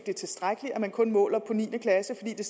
er tilstrækkeligt at man kun måler på niende klasse for det